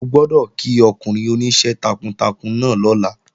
O gbọ́dọ̀ kí ọkùnrin oníṣẹ́ takuntakun náà lọ́la!